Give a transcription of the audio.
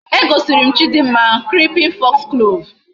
E gosirim chidimma creeping foxglove